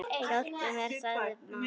Hjálpi mér, sagði mamma.